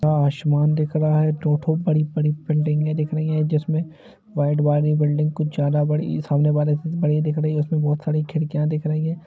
आसमान दिख रहा है दो टो बड़ी-बड़ी बिल्डिंगे दिख रही है जिसमे वाइट वाली बिल्डिंग कुछ ज़्यादा बड़ी सामनेवाली से बड़ी दिख रही है उसमे बहुत सारी खिड़कियां दिख रही है।